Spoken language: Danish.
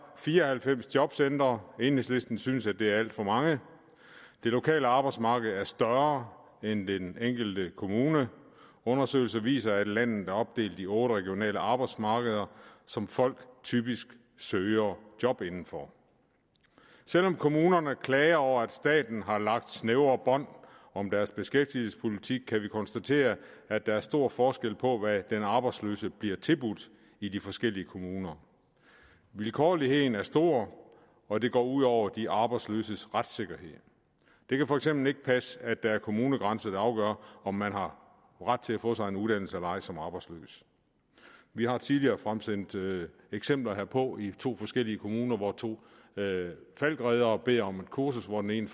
fire og halvfems jobcentre enhedslisten synes at det er alt for mange det lokale arbejdsmarked er større end den enkelte kommune undersøgelser viser at landet er opdelt i otte regionale arbejdsmarkeder som folk typisk søger job inden for selv om kommunerne klager over at staten har lagt snævre bånd om deres beskæftigelsespolitik kan vi konstatere at der er stor forskel på hvad den arbejdsløse bliver tilbudt i de forskellige kommuner vilkårligheden er stor og det går ud over de arbejdsløses retssikkerhed det kan for eksempel ikke passe at det er kommunegrænser der afgør om man har ret til at få sig en uddannelse eller ej som arbejdsløs vi har tidligere fremsendt eksempler herpå i to forskellige kommuner hvor to falckreddere bad om et kursus hvor den ene